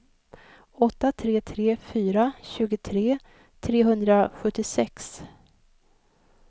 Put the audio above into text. åtta tre tre fyra tjugotre trehundrasjuttiosex